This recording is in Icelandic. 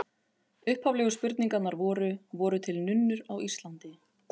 Upphaflegu spurningarnar voru: Voru til nunnur á Íslandi?